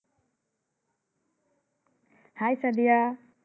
Hi Sadia.